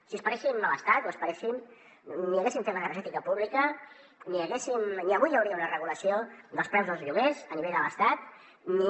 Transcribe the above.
si esperéssim l’estat o esperéssim ni haguéssim fet l’energètica pública ni avui hi hauria una regulació dels preus dels lloguers a nivell de l’estat ni